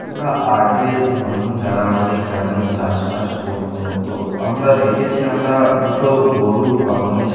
আমরা আগে মানুষ যারা আমাদের গ্রামের চাষবাস করত তো আমরা দেখেছি আমরা দুটো গরু বা মহীশ--